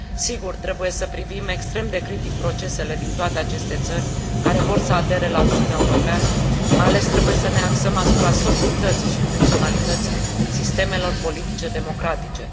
Sigur, trebuie să privim extrem de critic procesele din toate aceste țări care vor să adere la Uniunea Europeană, mai ales trebuie să ne axăm asupra solidității și funcționalității sistemelor politice democratice.